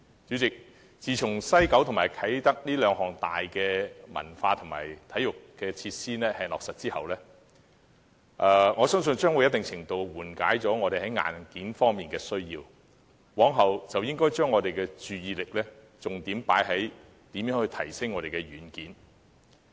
主席，自從西九和啟德這兩大文化和體育項目落實後，我相信已在一定程度上紓緩了我們在硬件方面的需要，故今後應以如何提升軟件為重點。